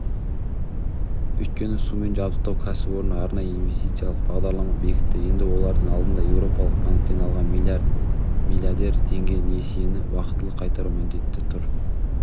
өйткені сумен жабдықтау кәсіпорны арнайы инвестициялық бағдарлама бекітті енді олардың алдында еуропалық банктен алған млдр теңге несиені уақытылы қайтару міндеті тұр